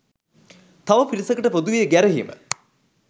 තව පිරිසකට පොදුවේ ගැරහීම